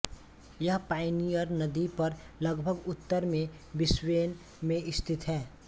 यह पायनियर नदी पर लगभग उत्तर में ब्रिस्बेन में स्थित है